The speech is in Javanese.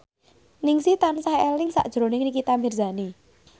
Ningsih tansah eling sakjroning Nikita Mirzani